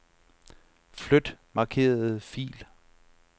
Flyt markerede fil.